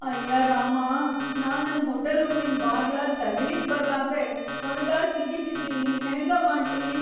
ಅಯ್ಯ ರಾಮಾ, ನಾ ನನ್‌ ಹೋಟಲ್‌ ರೂಮಿನ್‌ ಬಾಗ್ಲಾ ತಗೀಲಿಕ್‌ ಬರ್ಲಾರ್ದೇ ಹೊರಗ ಸಿಗಿಬಿದ್ದೀನಿ ಹೆಂಗ ಮಾಡ್ಲಿ.